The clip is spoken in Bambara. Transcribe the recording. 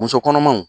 Muso kɔnɔmaw